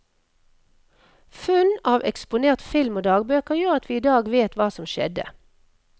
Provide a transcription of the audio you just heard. Funn av eksponert film og dagbøker, gjør at vi idag vet hva som skjedde.